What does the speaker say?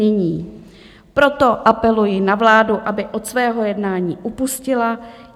Nyní proto apeluji na vládu, aby od svého jednání upustila.